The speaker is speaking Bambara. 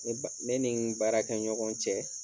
Ne ba ne ni n baarakɛɲɔgɔn cɛ